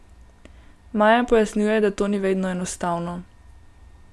Maja pojasnjuje, da to ni vedno enostavno.